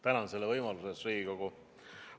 Tänan selle võimaluse eest, Riigikogu!